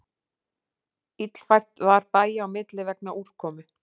Illfært var bæja á milli vegna úrkomu